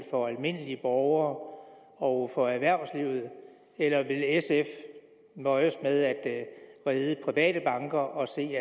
for almindelige borgere og for erhvervslivet eller vil sf nøjes med at redde de private banker og se